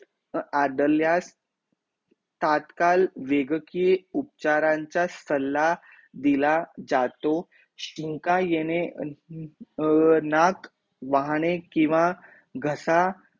अ अडल्यास, तात्काल वेगाकीय उपचारांचा सल्ला दिला जातो, शिंका येणे अं नाक वाहने किंवा घसा